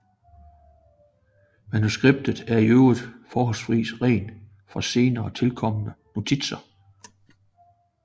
Manuskriptet er i øvrigt forholdsvis ren for senere tilkomne notitser